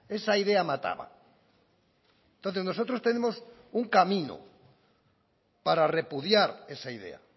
esa idea mataba entonces nosotros tenemos un camino para repudiar esa idea